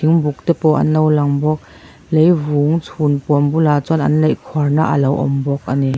buk tepawh an lo lang bawk lengvung chhun pawn bulah chuan an laih khuarna a lo awm bawk a ni.